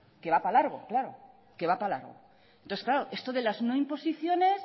que va para largo claro esto de las no imposiciones